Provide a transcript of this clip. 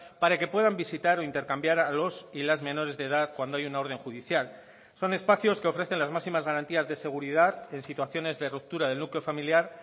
para que puedan visitar o intercambiar a los y las menores de edad cuando hay una orden judicial son espacios que ofrecen las máximas garantías de seguridad en situaciones de ruptura del núcleo familiar